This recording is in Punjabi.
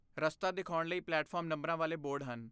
ਰਸਤਾ ਦਿਖਾਉਣ ਲਈ ਪਲੇਟਫਾਰਮ ਨੰਬਰਾਂ ਵਾਲੇ ਬੋਰਡ ਹਨ।